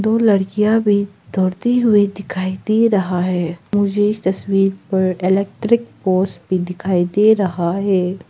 दो लड़कियां भी दौड़ती हुई दिखाई दे रहा है मुछे इस तस्वीर पर इलैक्ट्रिक पोस्ट भी दिखाई दे रहा है।